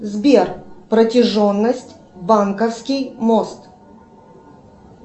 сбер протяженность банковский мост